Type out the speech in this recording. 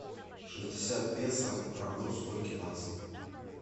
шестьдесят песо равно скольки баксам